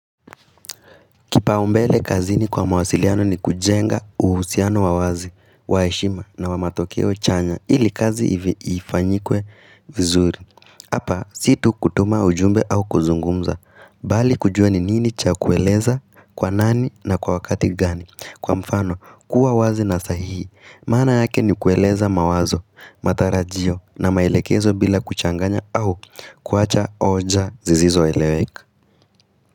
Kipaumbele kazini kwa mawasiliano ni kujenga uhusiano wawazi, waeshima na wa matokeo chanya ili kazi hivi ifanyikwe vizuri. Hapa, situ kutuma ujumbe au kuzungumza, bali kujua ni nini cha kueleza, kwa nani na kwa wakati gani. Kwa mfano, kuwa wazi na sahihi, maana yake ni kueleza mawazo, matarajio na maelekezo bila kuchanganya au kuacha oja zizizo eleweka.